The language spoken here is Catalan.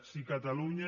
si a catalunya